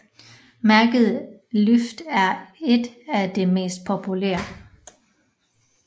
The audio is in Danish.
Mærket LYFT er ét af de mest populære